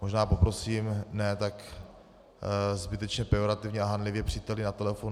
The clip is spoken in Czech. Možná poprosím ne tak zbytečně pejorativně a hanlivě - příteli na telefonu.